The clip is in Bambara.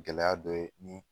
Gɛlɛya dɔ ye nin